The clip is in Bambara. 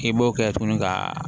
K'i b'o kɛ tuguni ka